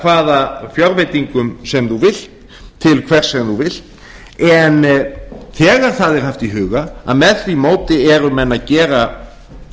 hvaða fjárveitingum sem þú vilt til hvers sem þú vilt en þegar það er haft í huga að með því móti eru menn að gera